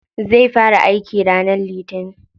Zai fara aiki ranar litinin.